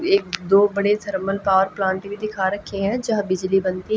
एक दो बड़े थर्मल पावर प्लांट दिखा रखे हैं जहां बिजली बनती--